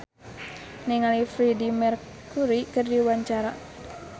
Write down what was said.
Donna Harun olohok ningali Freedie Mercury keur diwawancara